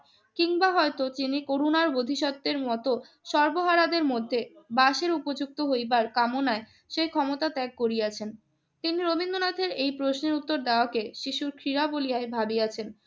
কিংবা হয়তো তিনি করুণার বোধিসত্ত্বের মতো সর্বহারাদের মধ্যে বাঁশের উপযুক্ত হইবার কামনায় সেই ক্ষমতা ত্যাগ করিয়াছেন। কিন্তু রবীন্দ্রনাথের এই প্রশ্নের উত্তর দেওয়াকে শিশুর ক্রীড়া বলিয়াযই ভাবিয়াছেন।